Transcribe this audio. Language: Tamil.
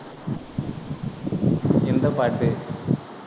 எந்த பாட்டு